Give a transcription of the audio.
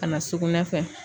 Ka na sugunɛ fɛ